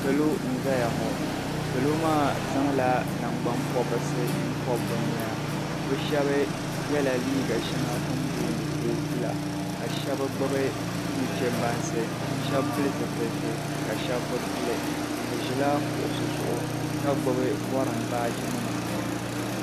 Salo n zaya ŋɔ salo maa zaŋla nangban pobrisi pobi bɛ noya bɛ sheba yela liiga sheŋa tini booni kootu la ka sheba gbibi nuchebansi sheba pili zipilsi ka sheba bi pili bɛ ʒila kuɣusi zuɣu ka gbibi gorim baaji nima.